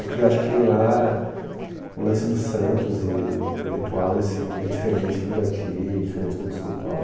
É que acho que lá o lance dos santos e o ritual em si é diferente do daqui, diferente do de São Paulo.